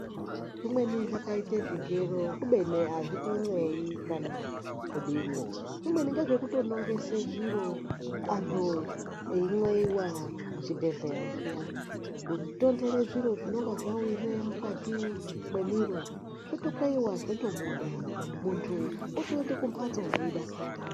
Zvimweni zvakaita zvigero kubeni azvitonxleyi kana kudini zvimweni ngezvekutonongesa zviro antu einxleiwa muchibhedhlera zviya. Kutonhtera zviro zvinenge zvawire mukati mwemiro zvotokweiwa zvotobuda muntu otoenda kumhatso eitodakara.